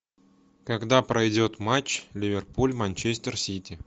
когда пройдет матч ливерпуль манчестер сити